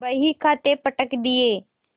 बहीखाते पटक दिये